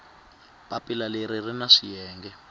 papila leri ri na swiyenge